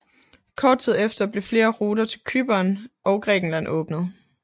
Kort tid efter blev flere ruter til Cypern og Grækenland åbnet